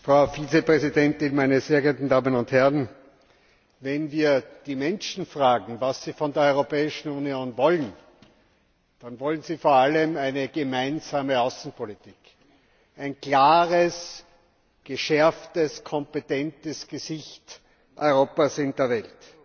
Herr Präsident, Frau Vizepräsidentin, meine sehr geehrten Damen und Herren! Wenn wir die Menschen fragen, was sie von der Europäischen Union wollen, dann wollen sie vor allem eine gemeinsame Außenpolitik, also ein klares, geschärftes, kompetentes Gesicht Europas in der Welt.